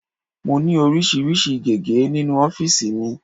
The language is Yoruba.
Mo ní oríṣiríṣi gege nínú ofiisi mi.